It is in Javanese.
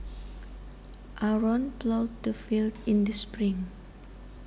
Aaron plowed the field in the spring